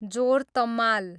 जोर तम्माल